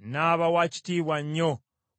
N’aba wa kitiibwa nnyo